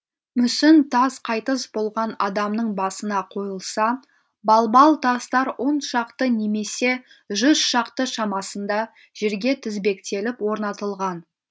мүсін тас қайтыс болған адамның басына қойылса балбал тастар он шақты немесе жүз шақты шамасында жерге тізбектеліп орнатылған